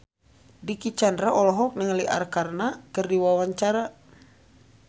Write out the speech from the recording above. Dicky Chandra olohok ningali Arkarna keur diwawancara